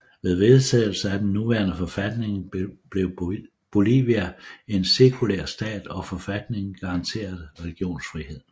Med vedtagelsen af den nuværende forfatning blev Bolivia en sekulær stat og forfatningen garanterer religionsfrihed